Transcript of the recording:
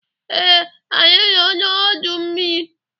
Ee, anyị nọ n'udu mmiri.